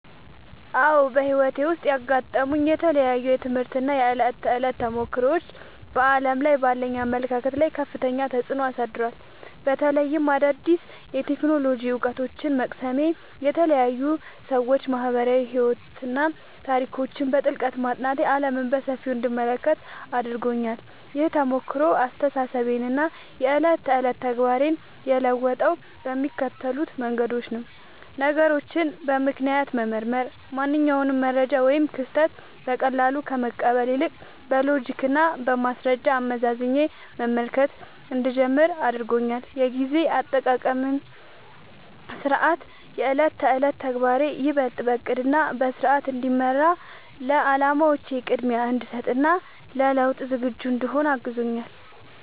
አዎ፣ በሕይወቴ ውስጥ ያጋጠሙኝ የተለያዩ የትምህርት እና የዕለት ተዕለት ተሞክሮዎች በዓለም ላይ ባለኝ አመለካከት ላይ ከፍተኛ ተጽዕኖ አሳድረዋል። በተለይም አዳዲስ የቴክኖሎጂ እውቀቶችን መቅሰሜ፣ የተለያዩ የሰዎች ማኅበራዊ ሕይወትና ታሪኮችን በጥልቀት ማጥናቴ ዓለምን በሰፊው እንድመለከት አድርጎኛል። ይህ ተሞክሮ አስተሳሰቤንና የዕለት ተዕለት ተግባሬን የለወጠው በሚከተሉት መንገዶች ነው፦ ነገሮችን በምክንያት መመርመር፦ ማንኛውንም መረጃ ወይም ክስተት በቀላሉ ከመቀበል ይልቅ፣ በሎጂክና በማስረጃ አመዛዝኜ መመልከት እንድጀምር አድርጎኛል። የጊዜ አጠቃቀምና ሥርዓት፦ የዕለት ተዕለት ተግባሬ ይበልጥ በዕቅድና በሥርዓት እንዲመራ፣ ለዓላማዎቼ ቅድሚያ እንድሰጥ እና ለለውጥ ዝግጁ እንድሆን አግዞኛል።